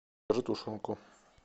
закажи тушенку